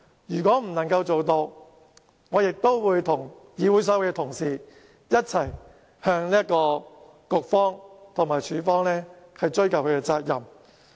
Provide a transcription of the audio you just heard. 如果不能夠做到，我亦會跟議會所有同事，一起向局方和處方追究責任。